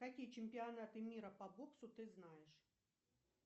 какие чемпионаты мира по боксу ты знаешь